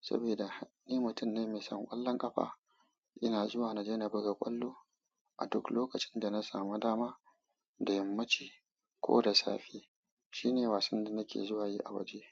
Saboda ni mutum ne mai son ƙwallon ƙafa. Ina zuwa na jena buga ƙwallo a duk lokacin da na samu dama, da yammaci ko da safe. Shine wasan da nake zuwa yi a waje.